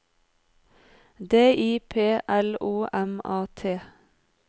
D I P L O M A T